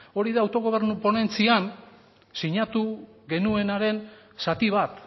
hori da autogobernu ponentzian sinatu genuenaren zati bat